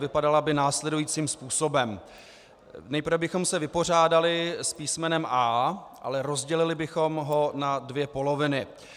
Vypadala by následujícím způsobem: Nejprve bychom se vypořádali s písmenem A, ale rozdělili bychom ho na dvě poloviny.